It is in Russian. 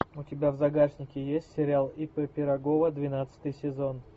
у тебя в загашнике есть сериал ип пирогова двенадцатый сезон